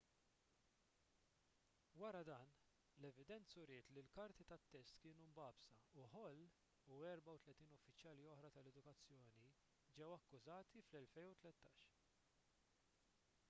wara dan l-evidenza uriet li l-karti tat-test kienu mbagħbsa u hall u 34 uffiċjali oħra tal-edukazzjoni ġew akkużati fl-2013